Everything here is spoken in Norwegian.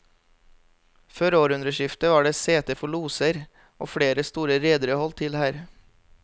Før århundreskiftet var det sete for loser, og flere store redere holdt til her.